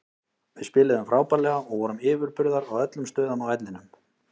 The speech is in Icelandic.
Við spiluðum frábærlega og vorum yfirburðar á öllum stöðum á vellinum.